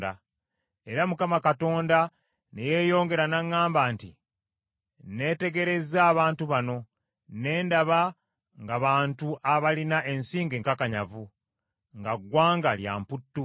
Era Mukama Katonda ne yeeyongera n’aŋŋamba nti, “Neetegerezza abantu bano, ne ndaba nga bantu abalina ensingo enkakanyavu, nga ggwanga lya mputtu.